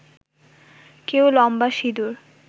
কেউ লম্বা সিঁদুর